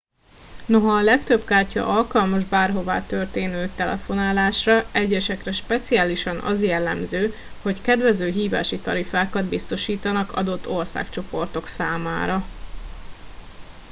noha a legtöbb kártya alkalmas bárhova történő telefonálásra egyesekre speciálisan az jellemző hogy kedvező hívási tarifákat biztosítanak adott országcsoportok számára